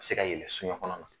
A be se ka yele soɲa kɔnɔ na.